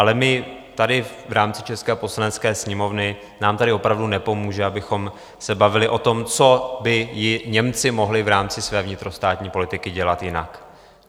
Ale my tady v rámci české Poslanecké sněmovny, nám tady opravdu nepomůže, abychom se bavili o tom, co by i Němci mohli v rámci své vnitrostátní politiky dělat jinak.